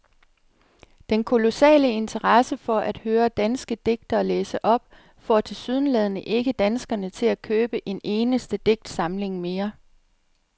Den kolossale interesse for at høre danske digtere læse op får tilsyneladende ikke danskerne til at købe en eneste digtsamling mere.